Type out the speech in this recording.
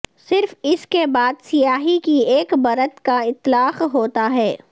صرف اس کے بعد سیاہی کی ایک پرت کا اطلاق ہوتا ہے